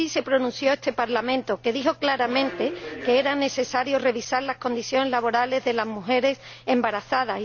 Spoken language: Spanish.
Así se pronunció este Parlamento, que dijo claramente que era necesario revisar las condiciones laborales de las mujeres embarazadas.